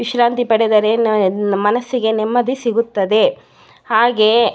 ವಿಶ್ರಾಂತಿ ಪಡೆದರೆ ನ ಮನಸ್ಸಿಗೆ ನೆಮ್ಮದಿ ಸಿಗುತ್ತದೆ ಹಾಗೆಯೆ --